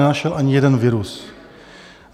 Nenašel ani jeden virus.